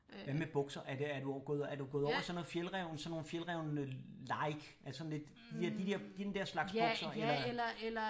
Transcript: Hvad med bukser er det er du er du gået over i sådan noget Fjällräven sådan nogle Fjällräven like altså sådan lidt de der den der slags bukser?